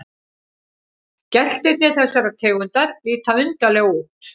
Geltirnir þessarar tegundar líta undarlega út.